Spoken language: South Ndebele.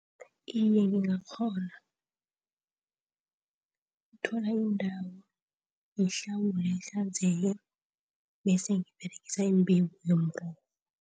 Iye ngingakghona ukuthola indawo ngiyihlawule, ihlanzeke bese ngiberegisa imbewu